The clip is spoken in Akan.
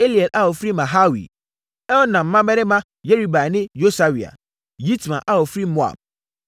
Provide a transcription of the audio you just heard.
Eliel a ɔfiri Mahawi; Elnaam mmammarima Yeribai ne Yosawia; Yitma a ɔfiri Moab;